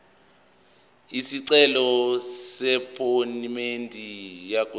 isicelo sephomedi yokwenze